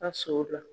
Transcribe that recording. A so o la